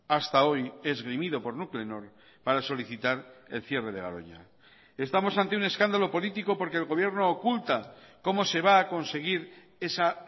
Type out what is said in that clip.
hasta hoy esgrimido por nuclenor para solicitar el cierre de garoña estamos ante un escándalo político porque el gobierno oculta cómo se va a conseguir esa